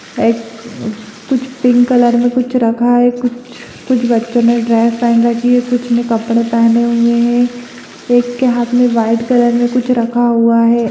एक कुछ pink colour में कुछ रखा है कुछ कुछ बच्चों ने ड्रेस पहन रखी हैं कुछ ने कपड़े पहने हुए हैं एक के हाथ में व्हाइट कलर में कुछ रखा हुआ है।